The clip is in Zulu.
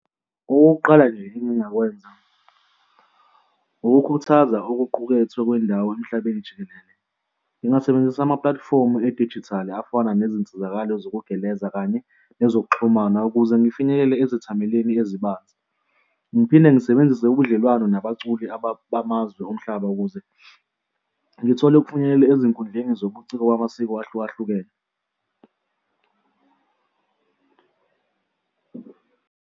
Okokuqala nje engingakwenza ukukhuthaza okuqukethwe kwendawo emhlabeni jikelele, ngingasebenzisa ama-platform edijithali afana nezinsizakalo zokugeleza kanye nezokuxhumana ukuze ngifinyelele ezithameleni ezibanzi. Ngiphinde ngisebenzise ubudlelwano nabaculi bamazwe omhlaba ukuze ngithole ukufinyelela ezinkundleni zobuciko bamasiko ahlukahlukene.